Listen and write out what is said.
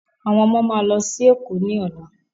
Àwọn ọmọ máa lọ sí èkó ní ọ̀la